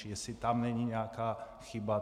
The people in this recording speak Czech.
Čili jestli tam není nějaká chyba.